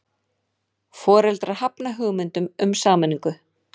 Foreldrar hafna hugmyndum um sameiningu